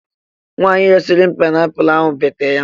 Nwanyị resịrị m paịnapụlụ ahụ bete ya.